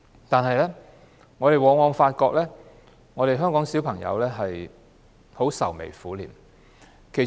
但是，我們往往發現，香港的小朋友愁眉苦臉。